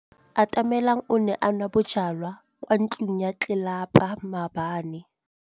Atamelang o ne a nwa bojwala kwa ntlong ya tlelapa maobane.